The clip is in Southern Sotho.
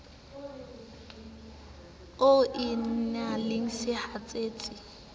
o e na le sehatsetsi